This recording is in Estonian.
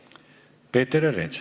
Peeter Ernits.